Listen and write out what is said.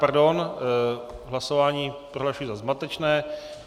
Pardon, hlasování prohlašuji za zmatečné.